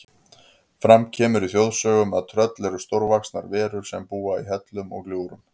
Fram kemur í þjóðsögum að tröll eru stórvaxnar verur sem búa í hellum og gljúfrum.